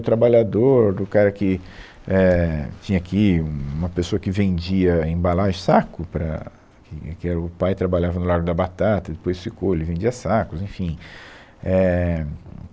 O trabalhador, o cara que é tinha aqui, uma pessoa que vendia embalagens, saco para, que que era o pai trabalhava no Largo da Batata, depois ficou, ele vendia sacos, enfim. É, hum